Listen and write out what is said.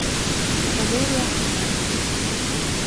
валерий ахмат